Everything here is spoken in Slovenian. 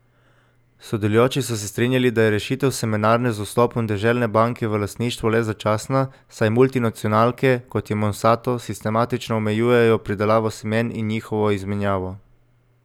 Sodelujoči so se strinjali, da je rešitev Semenarne z vstopom Deželne banke v lastništvo le začasna, saj multinacionalke, kot je Monsanto, sistematično omejujejo pridelavo semen in njihovo izmenjavo.